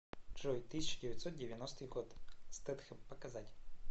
джой тысяча девятьсот девяностый год стэтхем показать